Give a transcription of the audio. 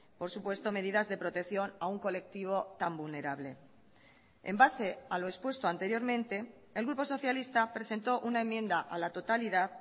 por supuesto medidas de protección a un colectivo tan vulnerable en base a lo expuesto anteriormente el grupo socialista presentó una enmienda a la totalidad